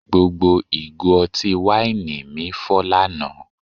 Gbogbo ìgò ọtí wáìnì mi fọ́ lánàá